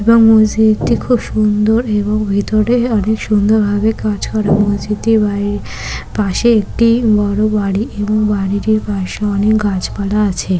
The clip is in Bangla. এবং মসজিদটি খুব সুন্দর এবং ভিতরে অনেক সুন্দর ভাবে কাজ করা মসজিদটি বাড়ি পাশে একটি বড়ো বাড়ি এবং বাড়িটির পাশে অনেক গাছপালা আছে।